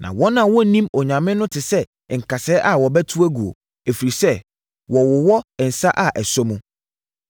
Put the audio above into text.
Na wɔn a wɔnnim Onyame no te sɛ nkasɛɛ a wɔbɛto aguo, ɛfiri sɛ, wɔwowɔ nsa a ɛsɔ mu.